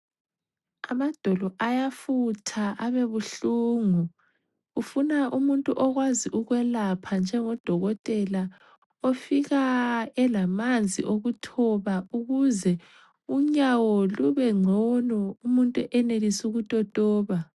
Amadolo ayafutha abebuhlungu ,kufuna umuntu okwazi ukwelapha njengo dokotela ofika elamanzi okuthoba ukuze unyawo lube ngcono umuntu enelise ukutotoba.